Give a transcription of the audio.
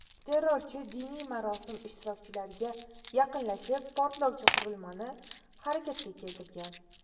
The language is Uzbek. Terrorchi diniy marosim ishtirokchilariga yaqinlashib, portlovchi qurilmani harakatga keltirgan.